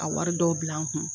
A wari dɔw bila n kun.